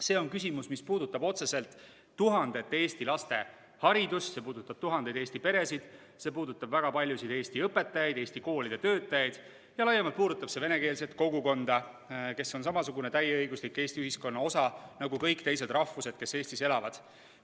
See on küsimus, mis puudutab otseselt tuhandete Eesti laste haridust, see puudutab tuhandeid Eesti peresid, see puudutab väga paljusid Eesti õpetajaid ja Eesti koolide töötajaid ning laiemalt puudutab see venekeelset kogukonda, kes on samasugune täieõiguslik Eesti ühiskonna osa nagu kõik muudest rahvustest inimesed, kes Eestis elavad.